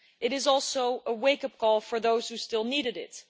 It is also a wake up call for those who still needed it.